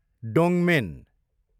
डोङमेन